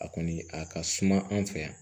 A kɔni a ka suma an fɛ yan